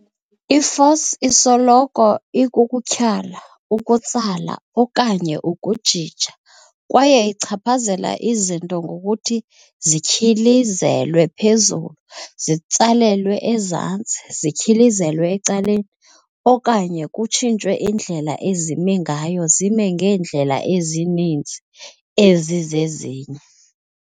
I-force isoloko ikukutyhala, ukutsala, okanye ukujija, kwaye ichaphazela izinto ngokuthi zityhilizelwe phezulu, zitsalelwe ezantsi, zityhilizelwe ecaleni, okanye kutshintshwe indlela ezimi ngayo zime ngeendlela ezimininzi ezizezinye.